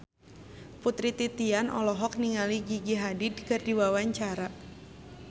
Putri Titian olohok ningali Gigi Hadid keur diwawancara